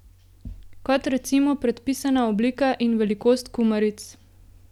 Kot recimo predpisana oblika in velikost kumaric.